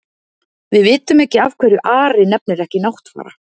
Við vitum ekki af hverju Ari nefnir ekki Náttfara.